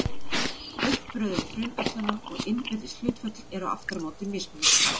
Uppröðun frumefnanna og innbyrðis hlutföll eru aftur á móti mismunandi.